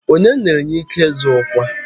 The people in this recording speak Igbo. Onye nyere ya ike ịzọ ọkwa?